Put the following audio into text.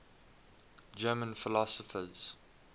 german philosophers